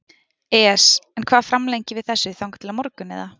ES En hvað framlengjum við þessu þangað til á morgun eða?